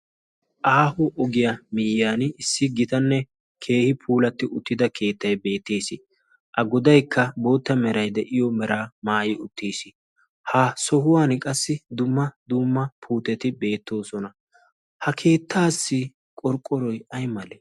aaho ogiyaa miyyan issi gitanne keehi puulatti uttida keettai beettiis. a godaikka bootta merai de'iyo mera maayi uttiis. ha sohuwan qassi dumma dumma puuteti beettoosona. ha keettaassi qorqqoroi ai male?